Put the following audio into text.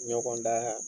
Ɲɔgɔndan